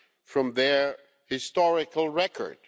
from their historical record.